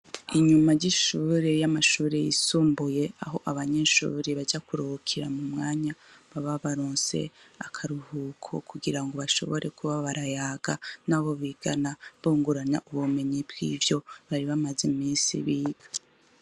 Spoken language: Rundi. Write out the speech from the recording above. Inyuma ry'ishure y'amashure y'isumbuye, aho abanyeshure baja kuruhukira mumwanya baba baronse akaruhuko kugirango bashobore kuba barayaga nabo bigana bungurana , ubumenyi bw'ivyo bari bamaze imisi biga.